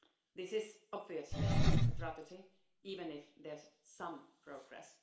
This is obviously a tragedy, even if there is some progress.